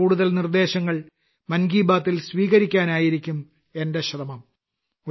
കൂടുതൽ കൂടുതൽ നിർദ്ദേശങ്ങൾ മൻ കി ബാത്ത്ൽ സ്വീകരിക്കാനായിരിക്കും എന്റെ ശ്രമം